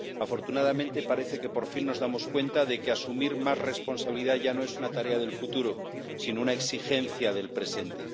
Afortunadamente, parece que por fin nos damos cuenta de que asumir más responsabilidad ya no es una tarea del futuro, sino una exigencia del presente.